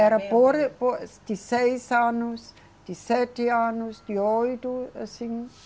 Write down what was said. Era por, por, de seis anos, de sete anos, de oito. Assim